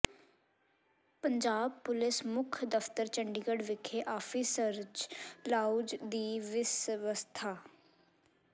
Punjab police ਮੁੱਖ ਦਫਤਰ ਚੰਡੀਗੜ੍ਹ ਵਿਖੇ ਆਫੀਸਰਜ਼ ਲਾਊਂਜ ਦੀ ਵਿਵਸਥਾ